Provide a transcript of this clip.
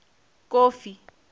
kofi